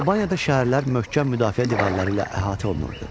Albaniyada şəhərlər möhkəm müdafiə divarları ilə əhatə olunurdu.